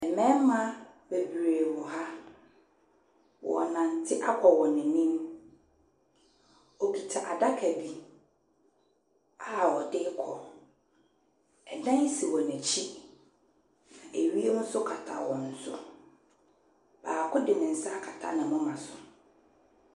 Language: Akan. Mbɛɛma bebree wɔ ha. Wɔ nante akɔ wɔn enim. Okita adaka bi a wɔde kɔ. Ɛdan si wɔn ekyi. Ewiem so kata wɔn so. Baako de ne nsa akata ne moma so.